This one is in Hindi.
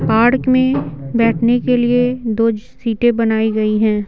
पार्क में बैठने के लिए दो सीटें बनाई गई हैं।